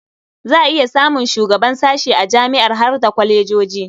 Za a iya samun shugaban sashe a jami'a har da kwalejoji.